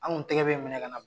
Anw tɛgɛ bɛ minɛ ka na